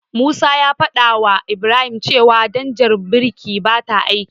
Musa ya fadawa Ibrahim cewa danjar birkin bata aiki.